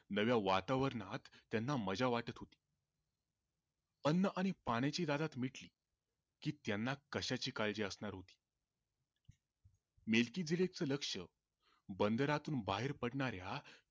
नव्या वातावरणात त्यांना मजा वाटत होती अन्न आणि पाण्याची ददात मिटली की त्यांना कशाची काळजी असणार होती मेलकीबीरीजच लक्ष बंदरातून बाहेर पडणाऱ्या